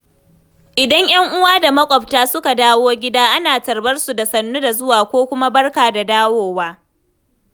Idan 'yan uwa da makwabta suka dawo gida, ana tarbar su da 'sannu da zuwa' ko kuma 'barka da dawowa'.